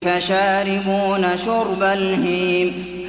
فَشَارِبُونَ شُرْبَ الْهِيمِ